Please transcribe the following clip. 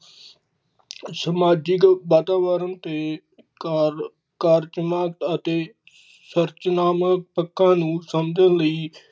ਸਮਾਜਿਕ ਵਾਤਾਵਰਨ ਤੇ ਕਰ ਕਾਰਜ ਅਤੇ ਸਰੰਚਨਾਵਾਂ ਪੱਖਾਂ ਨੂੰ ਸਮਝਣ ਲਈ।